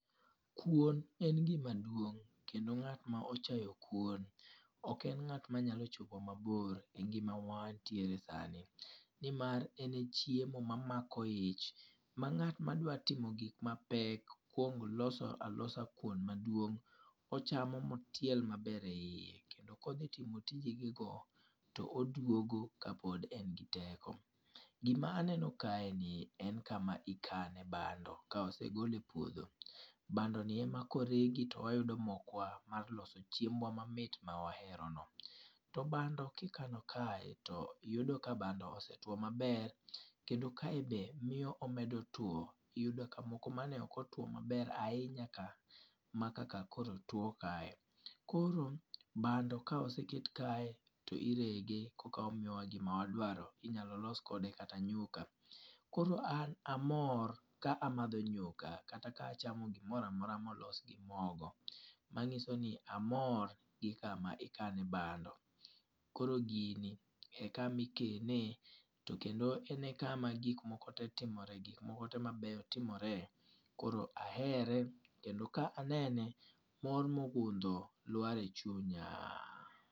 Kuon en gima duong', kendo ngát ma ochayo kuon, ok en ngát ma nyalo chopowa mabor e ngima ma wantiere sani. Ni mar, en e chiemo ma mamako ich, ma ngát ma dwaro chamo gik ma pek, kwongo loso alosa kuon maduong', ochamo ma otiel maber e iye, kendo ka odhi timo tije ge go, to oduogo ka pod en gi teko. Gima aneno kae ni ek kama ikano e bando ka osegol e puodho. Bando ni ema koregi to wayudo mokwa mar loso chiembwa mamit ma waherono. To bando ka ikano kae to yudo ka bando no osetwo maber. Kendo kae be miyo omedo two. Iyudo ka moko mane ok otwo maber, ahinya ka maka ka koro two kae. Koro bando ka oseket kae, to irege, koka omiyo wa gima wadwaro. Inyalo los kode kata nyuka. Koro an amor ka amadho nyuka, kata ka achamo gimoro amora ma olos gi mogo. Manyiso ni, amor gi kama ikane bando. Koro gini e kama ikene, to kendo en e kama gik moko te timore, gik moko te mabeyo timore. Koro ahere, kendo ka anene, mor mogundho lwar e chunya.